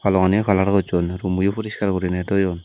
rong aniyo kalar gosson rummoyo puriskar guriney toyon.